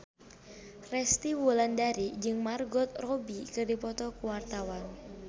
Resty Wulandari jeung Margot Robbie keur dipoto ku wartawan